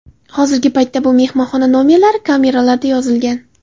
Hozirgi paytda bu mehmonxona nomerlari kameralarda joylashgan.